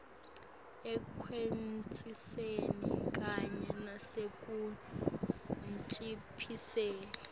ekwatiseni kanye nasekunciphiseni